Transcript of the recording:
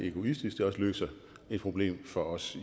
egoistisk løser et problem for os